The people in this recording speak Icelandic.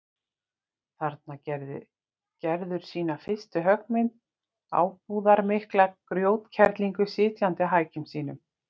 Þarna gerði Gerður sína fyrstu höggmynd, ábúðarmikla grjótkerlingu sitjandi á hækjum sínum.